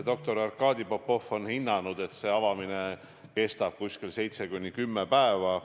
Doktor Arkadi Popov on hinnanud, et avamine kestab 7–10 päeva.